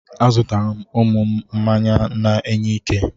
Azụtara m ụmụ m mmanya na-enye ike.